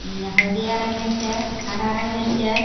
हल्दीया रंगेर छे हरा रंगेर छे।